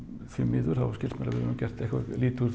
því miður skilst mér að við höfum gert eitthvað lítið úr